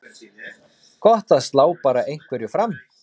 Gott að slá bara einhverju fram.